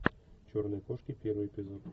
черные кошки первый эпизод